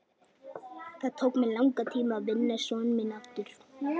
Það tók mig langan tíma að vinna son minn aftur.